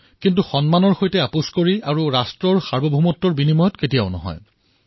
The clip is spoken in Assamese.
কিন্তু সন্মানৰ সৈতে মধ্যস্থতা কৰি আৰু ৰাষ্ট্ৰৰ সাৰ্বভৌমত্বৰ ওপৰত কেতিয়াও নহয়